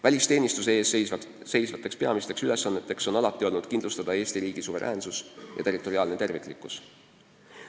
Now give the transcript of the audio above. Välisteenistuse ees seisvad peamised ülesanded on alati olnud kindlustada Eesti riigi suveräänsus ja territoriaalne terviklikkus.